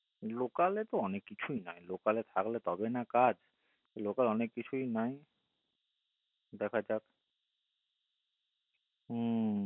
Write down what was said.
local তো অনেক কিছুইনাই local এ থাকলে তবেই তো card তো local এ তো অনেক কিছুই নাই দেখা যাক উঃ